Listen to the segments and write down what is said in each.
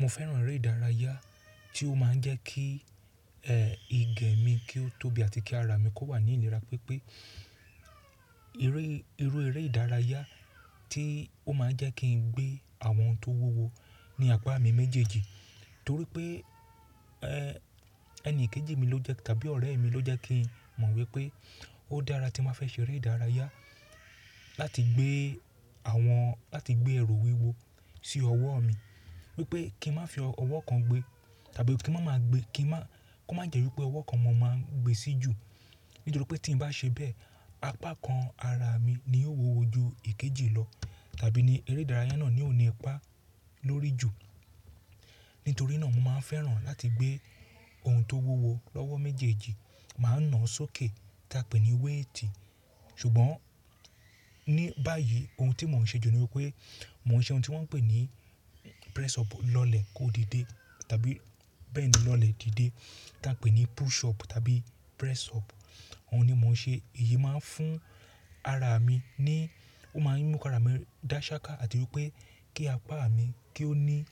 Mo fẹ́ràn eré ìdárayá tí ó máa ń jẹ́ kí ìgẹ mi kí ó tóbi àti kí ara mi kó wà ní ìlera, pé pé eré, irú eré ìdárayá tí ó máa ń jẹ́ kí n gbé àwọn ohun tó wúwo ní apá mi méjèèjì. Torí pé, ẹni kejì mi ló jẹ́ tàbí ọ̀rẹ́ mi ló jẹ́ kí n mọ̀ wípé ó dára tí mo bá fẹ́ ṣe eré ìdárayá láti gbé àwọn, láti gbé ẹ̀ru wíwo sí ọwọ́ mi. Wípé kí n má fi ọwọ́ kan gbé tàbí kí n má máa gbé, kí n má, kó má jẹ́ wípé ọwọ́ kan mọ́ máa ń gbé sí jù. Nítorí pé tí n bá ṣe bẹ́ẹ̀, apá kan ara mi ni yóò wúwo ju èkejì lọ tàbí ni eré ìdárayá náà ni ò ní ipa lórí jù. Nítorí náà mo máa ń fẹ́ràn láti gbé ohun tó wúwo lọ́wọ́ méjèèjì, máa ń na ọ sókè ta pè ní weighti. Ṣùgbọ́n ní báyìí ohun tí mò ń ṣe jù ni wípé mò ń ṣe ohun tí wọ́n ń pè ní press up lọlẹ̀ kó di dé tàbí bẹ́ẹ̀ ni lọlẹ̀ di dé tí a pè ní push up tàbí press up. Ohun ni mò ń ṣe. Èyí máa ń fún ara mi ní, ó máa ń mú kara mi dá ṣáká àti wípé kí apá mi kí ó ní,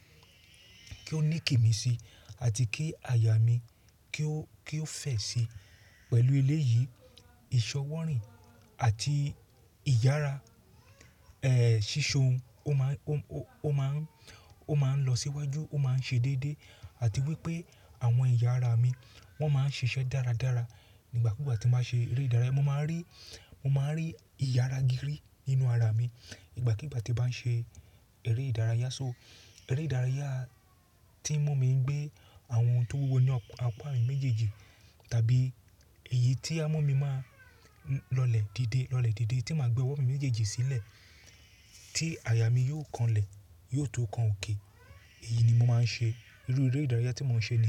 kí ó ní kìmí sí àti kí àyà mi kí ó, kí ó fẹ̀ sí. Pẹ̀lú eléyìí, ìsọ wọ́rìn àti ìyára, sísọ ohun, ó máa ń, ó máa ń, ó máa ń lọ síwájú, ó máa ń ṣe déédéé àti wípé àwọn ẹ̀yà ara mi wọ́n máa ń ṣiṣẹ́ dáradára nígbàkúgbà tí mo bá ṣe eré ìdárayá. Mo máa ń rí, mo máa ń rí ìyára gírí nínú ara mi ìgbàkígbà tí bá n ṣe eré ìdárayá. So eré ìdárayá tí ń mú mi gbé àwọn ohun tó wúwo ní apá mi méjèèjì tàbí èyí tí a mú mi máa lọlẹ̀ di dé, lọlẹ̀ di dé tí màá gbé ọwọ́ mi méjèèjì sílẹ̀ tí àyà mí yóò kan lẹ̀, yóò tó kan òkè. Èyí ni mo máa ń ṣe. Irú eré ìdárayá tí mò ń ṣe ni.